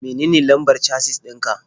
Menene lambar casis ɗin ka?